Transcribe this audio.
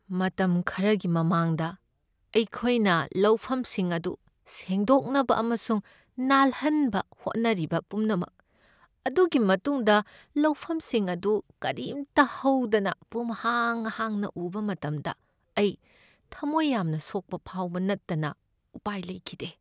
ꯃꯇꯝ ꯈꯔꯒꯤ ꯃꯃꯥꯡꯗ ꯑꯩꯈꯣꯏꯅ ꯂꯧꯐꯝꯁꯤꯡ ꯑꯗꯨ ꯁꯦꯡꯗꯣꯛꯅꯕ ꯑꯃꯁꯨꯡ ꯅꯥꯜꯍꯟꯕ ꯍꯣꯠꯅꯔꯤꯕ ꯄꯨꯝꯅꯃꯛ ꯑꯗꯨꯒꯤ ꯃꯇꯨꯡꯗ ꯂꯧꯐꯝꯁꯤꯡ ꯑꯗꯨ ꯀꯥꯔꯤꯝꯇ ꯍꯧꯗꯅ ꯄꯨꯡꯍꯥꯡ ꯍꯥꯡꯅ ꯎꯕ ꯃꯇꯝꯗ ꯑꯩ ꯊꯝꯃꯣꯏ ꯌꯥꯝꯅ ꯁꯣꯛꯄ ꯐꯥꯎꯕ ꯅꯠꯇꯅ ꯎꯄꯥꯏ ꯂꯩꯈꯤꯗꯦ꯫